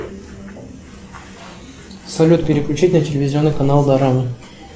салют переключить на телевизионный канал дорама